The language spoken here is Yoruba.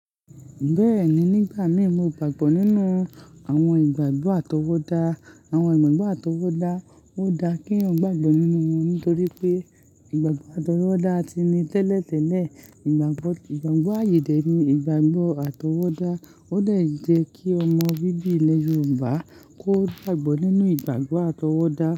Bẹ́ẹ̀ni, nígbà mí mo gbàgbọ́ nínú àwọn ìgbàgbọ́ àtọwọ́dá. Àwọn ìgbàgbọ́ àtọwọ́dá, ó dá kí eyan gbàgbọ́ nínú wọn nítorí pé ìgbàgbọ́ àtọwọ́dá ti ní tẹ́lẹ̀tẹ́lẹ̀ ìgbàgbọ́, ìgbàgbọ́ àyẹ̀ dẹ̀ ni ìgbàgbọ́ àtọwọ́dá ó le jẹ́ kí ọmọ bíbí ilẹ̀ Yorùbá kó gbàgbọ́ nínú ìgbàgbọ́ àtọwọ́dá.